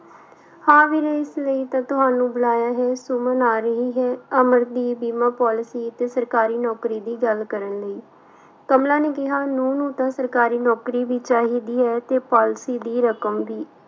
ਹਾਂ ਵੀਰੇ ਇਸ ਲਈ ਤਾਂ ਤੁਹਾਨੂੰ ਬੁਲਾਇਆ ਹੈ ਸੁਮਨ ਆ ਰਹੀ ਹੈ ਅਮਰ ਦੀ ਬੀਮਾ policy ਤੇ ਸਰਕਾਰੀ ਨੌਕਰੀ ਦੀ ਗੱਲ ਕਰਨ ਲਈ, ਕਮਲਾ ਨੇ ਕਿਹਾ ਨਹੁੰ ਨੂੰ ਤਾਂ ਸਰਕਾਰੀ ਨੌਕਰੀ ਵੀ ਚਾਹੀਦੀ ਹੈ ਤੇ policy ਦੀ ਰਕਮ ਵੀ।